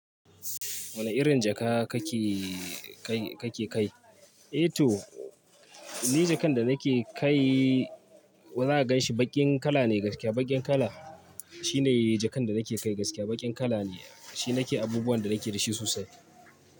Wane irin jaka kake kai? Eh to ni jakan da nake kai. Za a ganshi baƙin kala ne gaskiya. Baƙin kala shine jakan da nake kai gaskiya. Baƙin kala ne, shi nake abubuwan da nake da shi sosai.